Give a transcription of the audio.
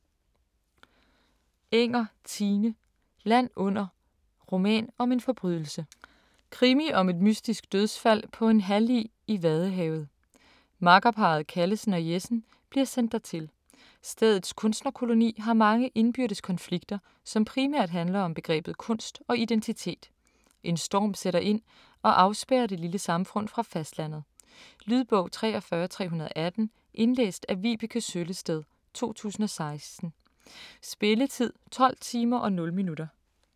Enger, Tine: Land under: roman om en forbrydelse Krimi om et mystisk dødsfald på en hallig i Vadehavet. Makkerparret Callesen og Jessen bliver sendt dertil. Stedets kunstnerkoloni har mange indbyrdes konflikter, som primært handler om begrebet kunst og identitet. En storm sætter ind og afspærrer det lille samfund fra fastlandet. Lydbog 43318 Indlæst af Vibeke Søllested, 2016. Spilletid: 12 timer, 0 minutter.